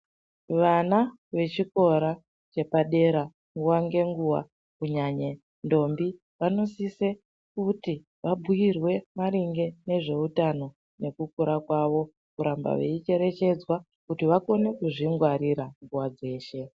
Vana vechikora chepadera nguva ngenguva kunyanya ndombi. Vanosise kuti vabhuirwe maringe nezveutano nekukura kwavo. Kuramba veicherechedzwa kuti vakone kuzvingwarira nguva dzeshe.